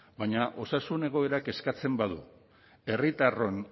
baina osasun egoerak eskatzen badu herritarron